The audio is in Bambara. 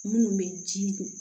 Minnu bɛ ji don